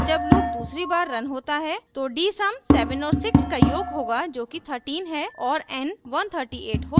और जब loop दूसरी बार रन होता है तो dsum 7 और 6 का योग होगा जो कि 13 है और n 138 हो जाएगा